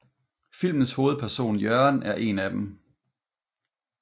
Filmens hovedperson Jørgen er en af dem